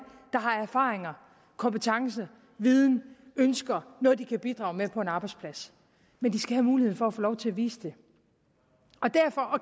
der har erfaringer kompetencer viden ønsker noget de kan bidrage med på en arbejdsplads men de skal have muligheden for at få lov til at vise det og derfor